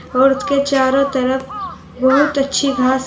और उसके चारों तरफ बहुत अच्छी घास--